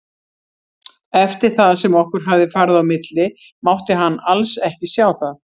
Eftir það sem okkur hafði farið á milli mátti hann alls ekki sjá það.